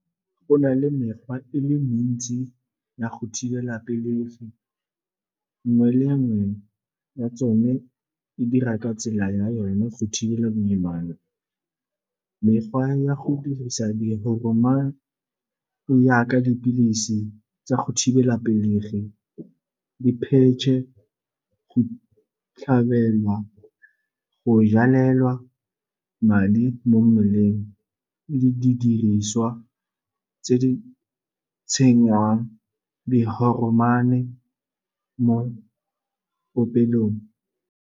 Go na le mekgwa e le mentsi ya go thibela pelegi, nngwe le nngwe ya tsone e dira ka tsela ya yone go thibela boimane. Mekgwa ya go dirisa di yaka dipilisi tsa go thibela pelegi, di-patch-e, go tlhabelwa, go jalelwa madi mo mmeleng le didiriswa tse di tsenywang di mo popelong.